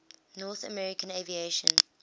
north american aviation